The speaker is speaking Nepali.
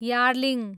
यार्लिङ